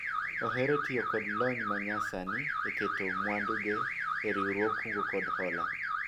ohero tiyo kod lony ma nya sani e keto mwandu ge e riwruog kungo kod hola